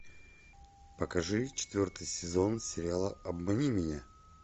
покажи четвертый сезон сериала обмани меня